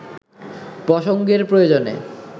প্রসঙ্গের প্রয়োজনে